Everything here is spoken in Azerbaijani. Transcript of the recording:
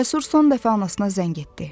Cəsur son dəfə anasına zəng etdi.